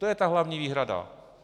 To je ta hlavní výhrada.